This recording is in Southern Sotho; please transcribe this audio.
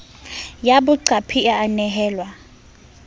ya boqapi e a nehelwa